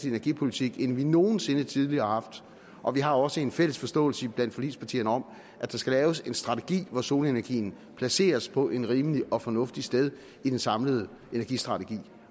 energipolitik end vi nogen sinde tidligere har haft og vi har også en fælles forståelse iblandt forligspartierne om at der skal laves en strategi hvor solenergien placeres på et rimeligt og fornuftigt sted i den samlede energistrategi